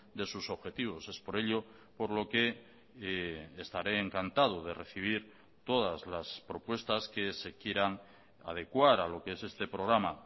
de sus objetivos es por ello por lo que estaré encantado de recibir todas las propuestas que se quieran adecuar a lo que es este programa